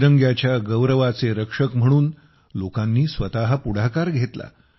तिरंग्याच्या गौरवाचे रक्षक म्हणून लोकांनी स्वत पुढाकार घेतला